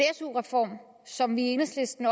su reform som vi i enhedslisten